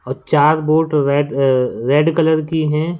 चार boat red uh red colour की हैं।